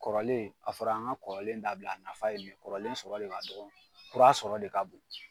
Kɔrɔlen a fɔra an ka kɔrɔlen dabila a nafa ye nin kɔrɔlen sɔrɔ de ka dɔgɔn kura sɔrɔ de ka bon.